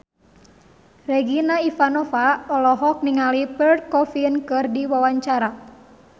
Regina Ivanova olohok ningali Pierre Coffin keur diwawancara